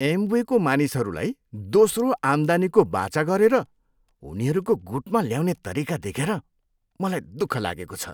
एमवेको मानिसहरूलाई दोस्रो आम्दानीको वाचा गरेर उनीहरूको गुटमा ल्याउने तरिका देखे मलाई दुःख लागेको छु।